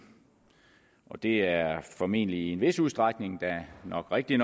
og det er formentlig i en vis udstrækning da nok rigtigt